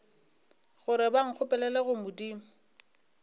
gore ba nkgopelele go modimo